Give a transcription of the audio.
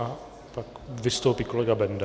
A pak vystoupí kolega Benda.